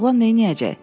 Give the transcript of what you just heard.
Oğlan neyləyəcək?